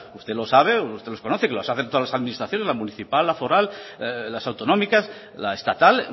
usted lo sabe usted los conoce que lo hacen todas las administraciones la municipal la foral las autonómicas la estatal